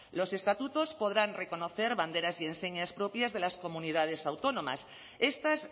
los estatutos podrán reconocer banderas y enseñas propias de las comunidades autónomas estas